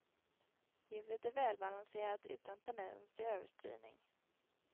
Ljudet är välbalanserat utan tendens till överstyrning.